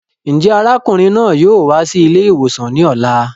Njẹ arákùnrin náà yóò wá sí ilé ìwòsàn ní ọ̀la?